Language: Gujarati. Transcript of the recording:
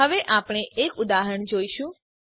હવે આપણે એક ઉદાહરણ જોઈશું